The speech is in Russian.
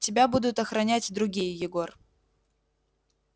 тебя будут охранять другие егор